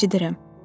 Eşidirəm.